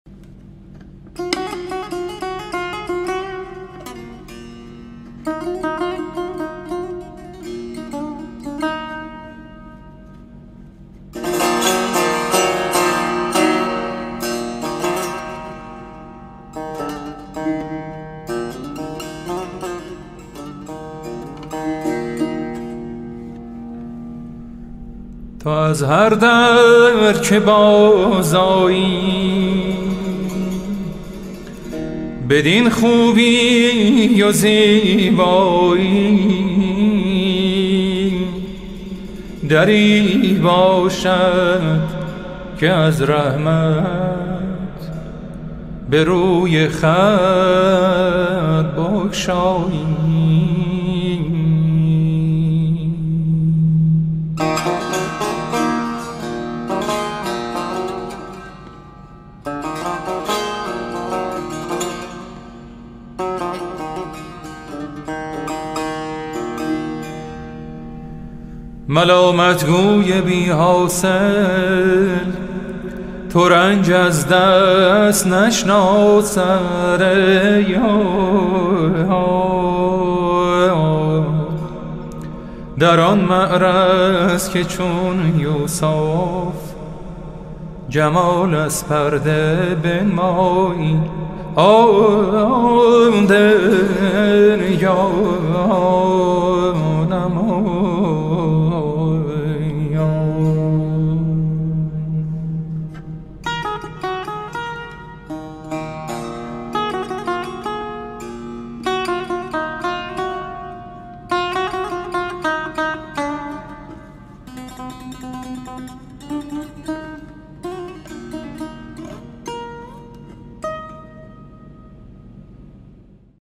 تو از هر در که بازآیی بدین خوبی و زیبایی دری باشد که از رحمت به روی خلق بگشایی ملامت گوی بی حاصل ترنج از دست نشناسد در آن معرض که چون یوسف جمال از پرده بنمایی به زیورها بیآرایند وقتی خوب رویان را تو سیمین تن چنان خوبی که زیورها بیآرایی چو بلبل روی گل بیند زبانش در حدیث آید مرا در رویت از حیرت فروبسته ست گویایی تو با این حسن نتوانی که روی از خلق درپوشی که همچون آفتاب از جام و حور از جامه پیدایی تو صاحب منصبی جانا ز مسکینان نیندیشی تو خواب آلوده ای بر چشم بیداران نبخشایی گرفتم سرو آزادی نه از ماء مهین زادی مکن بیگانگی با ما چو دانستی که از مایی دعایی گر نمی گویی به دشنامی عزیزم کن که گر تلخ است شیرین است از آن لب هر چه فرمایی گمان از تشنگی بردم که دریا تا کمر باشد چو پایانم برفت اکنون بدانستم که دریایی تو خواهی آستین افشان و خواهی روی درهم کش مگس جایی نخواهد رفتن از دکان حلوایی قیامت می کنی سعدی بدین شیرین سخن گفتن مسلم نیست طوطی را در ایامت شکرخایی